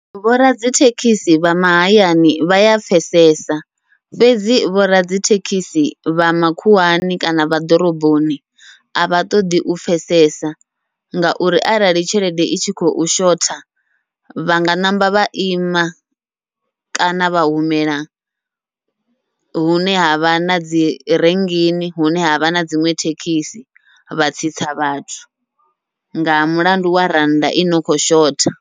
Vhoradzithekhisi vha mahayani vha ya pfhesesa, fhedzi vhoradzithekhisi vha makhuwani kana vha ḓoroboni avha ṱoḓi u pfhesesa. Ngauri arali tshelede i tshi khou shotha, vhanga ṋamba vha ima kana vha humela hune havha na dzi ringini hune havha na dziṅwe thekhisi, vha tsitsa vhathu nga mulandu wa rannda ino kho shotha.